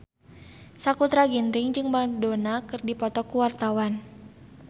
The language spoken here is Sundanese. Sakutra Ginting jeung Madonna keur dipoto ku wartawan